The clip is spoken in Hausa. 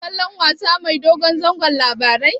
Kana kallon wasa mai dogon zango Labaran?